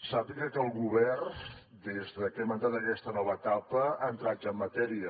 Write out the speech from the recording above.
sàpiga que el govern des de que hem entrat en aquesta nova etapa ha entrat ja en matèria